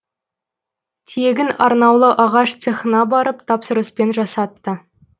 тиегін арнаулы ағаш цехына барып тапсырыспен жасатты